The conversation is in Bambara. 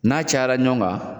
N'a cayara ɲɔgɔn kan